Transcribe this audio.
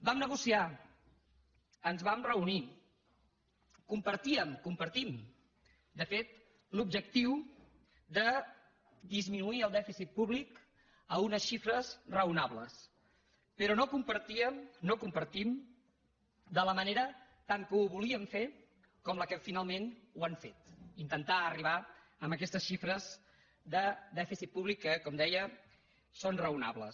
vam negociar ens vam reunir compartíem el compartim de fet l’objectiu de disminuir el dèficit públic a unes xifres raonables però no compartíem no ho compartim tant de la manera que ho volien fer com la que finalment ho han fet el fet d’intentar arribar en aquestes xifres de dèficit públic que com deia són raonables